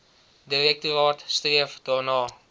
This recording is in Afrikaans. direktoraat streef daarna